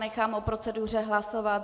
Nechám o proceduře hlasovat.